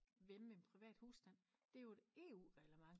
Hjemme ved en privat husstand det er jo et EU reglement